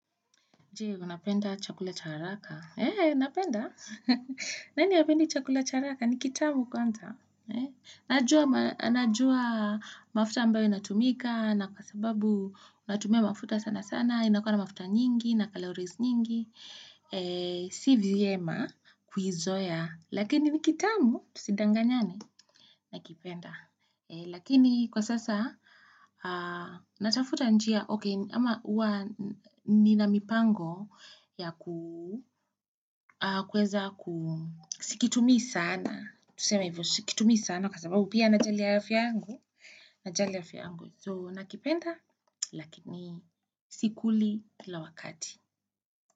Jee, unapenda chakula cha haraka. Eee, napenda? Nani hapendi chakula cha haraka? Ni kitamu kwanza? Najua mafuta ambayo inatumika na kwa sababu unatumia mafuta sana sana. Inakuwa na mafuta nyingi, na calories nyingi. Si vyema kuizoea. Lakini ni kitamu, tusidanganyane? Nakipenda. Lakini kwa sasa, natafuta njia. Okay, ama uwa nina mipango ya kuweza ku sikitumii sana. Tuseme hivyo sikitumii sana kwa sababu pia najali afya yangu. Najali afya yangu. So nakipenda, lakini sikuli kila wakati.